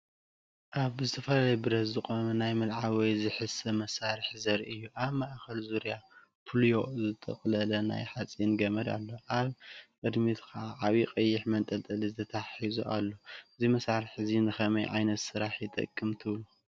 እዚ ብዝተፈላለዩ ብረት ዝቖመ ናይ ምልዓል ወይ ዝስሕብ መሳርሒ ዘርኢ እዩ። ኣብ ማእከል ዙርያ ፑልዮ ዝተጠቕለለ ናይ ሓጺን ገመድ ኣሎ፣ ኣብ ቅድሚት ድማ ዓቢ ቀይሕ መንጠልጠሊ ተተሓሒዙ ኣሎ። እዚ መሳርሒ እዚ ንኸመይ ዓይነት ስራሕ ይጠቅም ትብሉ?